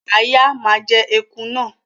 Àáyá ma jẹ eku náà